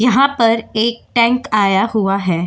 यहां पर एक टैंक आया हुआ है।